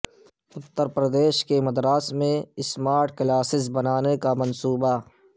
اترپردیش کے مدارس میں اسمارٹ کلاسز بنانے کا منصوبہ